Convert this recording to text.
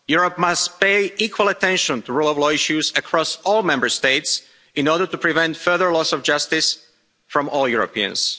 Europe must pay equal attention to rule of law issues across all Member States in order to prevent further loss of justice from all Europeans.